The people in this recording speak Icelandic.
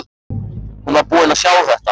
Hún var búin að sjá þetta!